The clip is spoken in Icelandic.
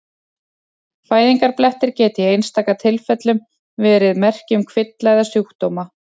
Fæðingarblettir geta í einstaka tilfellum verið merki um kvilla eða sjúkdóma.